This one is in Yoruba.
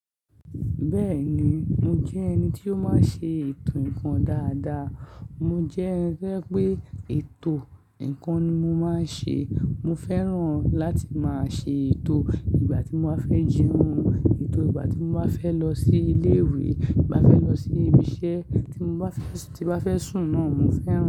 Bẹ́ẹ̀ni, mo jẹ́ ẹni tí ó máa ń ṣe ètò ǹkan dáadáa. Mo jẹ́ ẹni to ẹ pé ètò ǹkan ni mo máa ń ṣe. Mo fẹ́ràn láti máa ṣe ètò ìgbà tí mo bá fẹ́ jẹun, ètò ìgbà tí mo bá fẹ́ lọ sí ilé ìwé, igb ti mo bá fẹ́ lọ sí ibi iṣẹ́ tí mo bá fẹ́, tí mo bá fẹ́ sùn náà, mo fẹ́ràn.